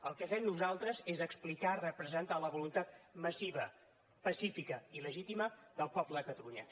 el que fem nosaltres és explicar representar la voluntat massiva pacífica i legítima del poble de catalunya